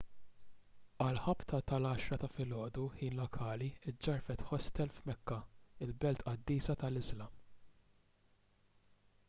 għal ħabta tal-10 ta' filgħodu ħin lokali ġġarfet ħostel f'mekka il-belt qaddisa tal-iżlam